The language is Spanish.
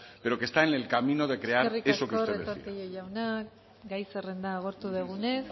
pero que está en camino de crear eso que usted decía eskerrik asko retortillo jauna gai zerrenda agortu dugunez